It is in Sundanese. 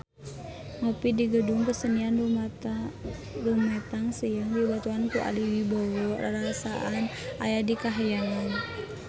Ngopi di Gedung Kesenian Rumetang Siang dibaturan ku Ari Wibowo rarasaan aya di kahyangan